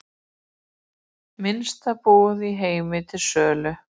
Minnsta íbúð í heimi til sölu